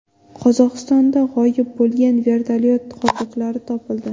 Qozog‘istonda g‘oyib bo‘lgan vertolyot qoldiqlari topildi.